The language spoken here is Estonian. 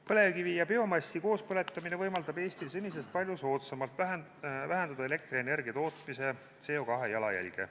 Põlevkivi ja biomassi koospõletamine võimaldab Eestil senisest palju soodsamalt vähendada elektrienergia tootmise CO2 jalajälge.